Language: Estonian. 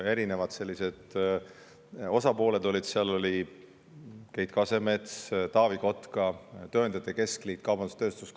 Seal oli mitu osapoolt, seal olid näiteks Keit Kasemets, Taavi Kotka, tööandjate keskliit ja kaubandus-tööstuskoda.